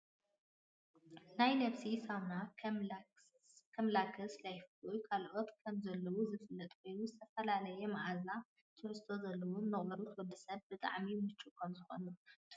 ናይ ነብስ ሳሙና ከምላክስን ላይፍቦይን ካልኦትን ከምዘለዉ ዝፍለጥ ኮይኑ፣ ዝተፈላለየ ማዓዛን ትሕዝቶን ዘለዎ ንቆርበት ወዲ ሰብ ብጣዕሚ ሙችው ከምዝኮነ ትፈልጡ ዶ?